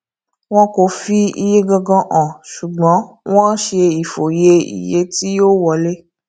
wọn kò fi iye gangan hàn ṣùgbọn wón ṣe ìfòye iye tí yóò wọlé